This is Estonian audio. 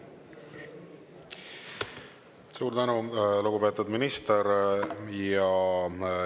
Suur tänu, lugupeetud minister!